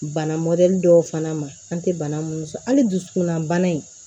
Bana dɔw fana ma an tɛ bana minnu sɔrɔ hali dusukunna bana in